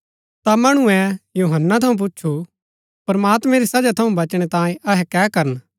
ता मणुऐ यूहन्‍नै थऊँ पुछु प्रमात्मैं री सजा थऊँ बचणै तांयें अहै कै करन